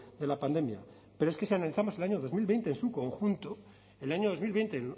de la pandemia pero es que si analizamos el año dos mil veinte en su conjunto el año dos mil veinte en